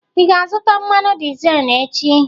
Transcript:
Ị ga-azụta mmanụ dizel echi?